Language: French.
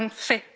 l'avons fait!